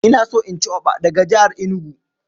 Ina so in ci Oɓa daga jihar Enugu.